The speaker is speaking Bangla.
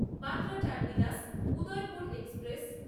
Bandra terminus Udaipur express